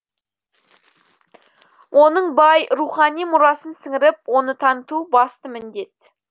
оның бай рухани мұрасын сіңіріп оны таныту басты міндет